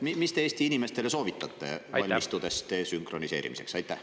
Mis te Eesti inimestele soovitate, valmistudes desünkroniseerimiseks?